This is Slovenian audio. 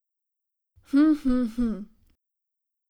Hm, hm, hm.